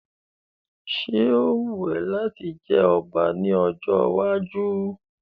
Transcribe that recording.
Ṣé ó wù ẹ́ láti jẹ ọba ní ọjọ́ iwájú?